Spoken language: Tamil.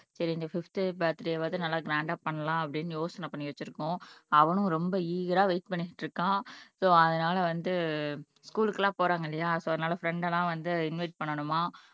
சரி இந்த ஃபிஃப்த் பர்த்டேவாது நல்லா கிராண்டா பண்ணலாம் அப்படின்னு யோசனை பண்ணி வச்சிருக்கோம் அவனும் ரொம்ப ஈகரா வெயிட் பண்ணிட்டு இருக்கான் சோ அதனால வந்து ஸ்கூல்க்கு எல்லாம் போறாங்க இல்லையா சோ அதனால ஃபிரண்ட் எல்லாம் வந்து இன்வைட் பண்ணணுமா